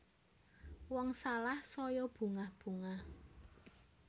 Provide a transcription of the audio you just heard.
Wong salah saya bungah bungah